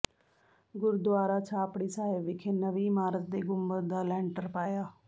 ਗੁਰਦੁਆਰਾ ਛਾਪੜੀ ਸਾਹਿਬ ਵਿਖੇ ਨਵੀਂ ਇਮਾਰਤ ਦੇ ਗੁੰਬਦ ਦਾ ਲੈਂਟਰ ਪਾਇਆ